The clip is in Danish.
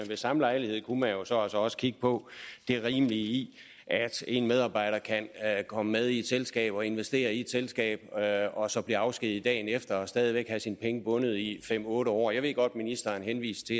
ved samme lejlighed kunne man jo så også kigge på det rimelige i at en medarbejder kan komme med i et selskab og investere i et selskab og så blive afskediget dagen efter og stadig væk have sine penge bundet i fem otte år jeg ved godt ministeren henviste